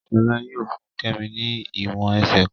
Shola yóò fún kemi ní èwòn ẹsẹ kán